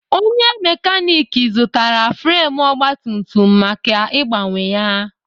Onye mekanik zụtara fremu ogbatumtum maka ịgbanwe ya.